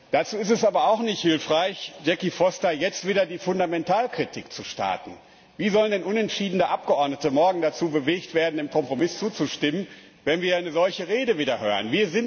Dazu ist es aber auch nicht hilfreich, Jackie Foster, jetzt wieder die Fundamentalkritik zu starten. Wie sollen unentschiedene Abgeordnete morgen dazu bewegt werden, dem Kompromiss zuzustimmen, wenn wir wieder eine solche Rede hören?